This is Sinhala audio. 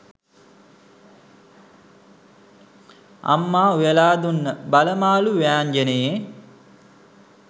අම්මා උයලා දුන්න බල මාළු ව්‍යාංජනේ